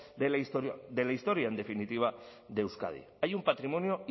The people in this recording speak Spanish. de la historia en definitiva de euskadi hay un patrimonio